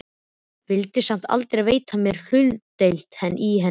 Vildi samt aldrei veita mér hlutdeild í henni.